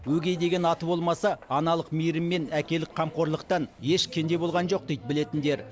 өгей деген аты болмаса аналық мейірім мен әкелік қамқорлықтан еш кенде болған жоқ дейді білетіндер